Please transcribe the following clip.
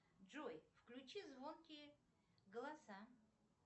джой включи звонкие голоса